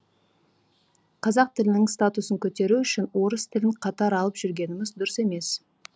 қазақ тілінің статусын көтеру үшін орыс тілін қатар алып жүргеніміз дұрыс емес